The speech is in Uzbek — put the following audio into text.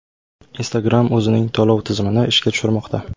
Instagram o‘zining to‘lov tizimini ishga tushirmoqda.